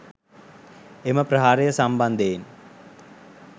එම ප්‍රහාරය සම්බන්ධයෙන්